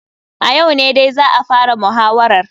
A yau ne dai za a fara muhawarar.